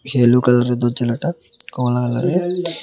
Yellow কালারের দরজালাটা কমলা কালারের।